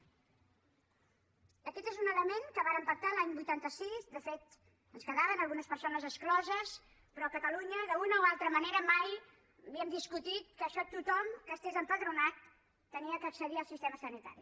aquest és un element que vàrem pactar l’any vuitanta sis de fet en quedaven algunes persones excloses però a catalunya d’una o altra manera mai havíem discutit que tothom que estigués empadronat havia d’accedir al sistema sanitari